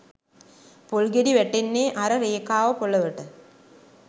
පොල් ගෙඩි වැටෙන්නේ අර රේඛාව පොළොවට